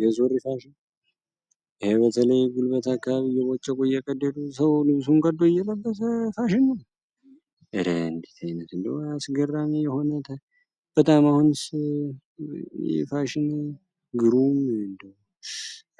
ገዙርፋሽ ይህ በተለይ ጉልበት አካባቢ እየቦቸቆ የተቀደሉ ሰው ልብሱን ከቀዶ እየለበተ ፋሽኑን እለህ ንዲት አይነት እንደ ያስገራኔ የሆነ በጣም አሁን ፋሽን ግሩም ንደ